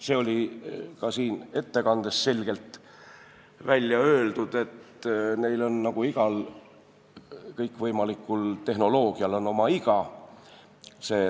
See oli ka ettekandes selgelt välja öeldud, et neil nagu kõikvõimalikul tehnoloogial on oma iga.